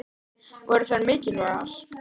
Voru þær mikilvægar?